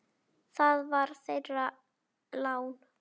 Það var þeirra lán.